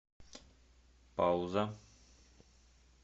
пауза